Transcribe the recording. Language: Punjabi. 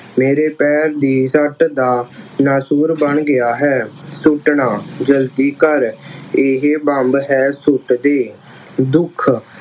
ਮੇਰੇ ਪੈਰ ਦੀ ਸੱਟ ਦਾ ਨਸੂਰ ਬਣ ਗਿਆ ਹੈ। ਸੁੱਟਣਾ, ਜਲਦੀ ਕਰ ਇਹੇ ਬੰਬ ਹੈ ਸੁੱਟਦੇ। ਦੁੱਖ